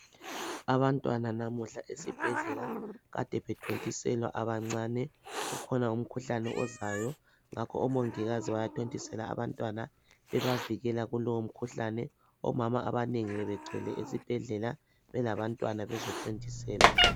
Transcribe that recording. Abantwana namuhla esibhedlela, kade bethontisela abancane. Kukhona umkhuhlane ozayo, ngakho omongikazi bayathontisela abantwana, bebavikela kulowo mkhuhlane. Omama abanengi bebegcwele esibhedlela belabantwana bezothontiselwa.